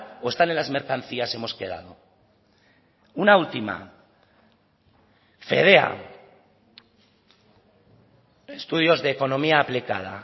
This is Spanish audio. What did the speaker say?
o están en las mercancías hemos quedado una última fedea estudios de economía aplicada